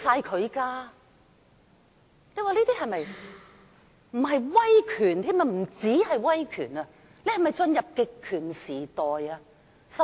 香港不單已進入威權時代，更已進入極權時代。